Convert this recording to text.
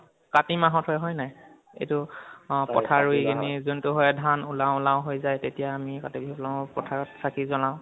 কাতি মাহত হয় হয়নে নহয়? এইটো অ পথাৰ ৰুই কেনে যোনটো হয় ধান ওলাউ ওলাউ হৈ যায় তেতিয়া আমি কাতি বিহু পথাৰত চাকি জ্বলাও